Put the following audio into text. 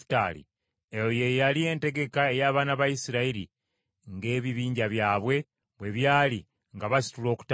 Eyo ye yali entegeka ey’abaana ba Isirayiri ng’ebibinja byabwe bwe byali nga basitula okutambula.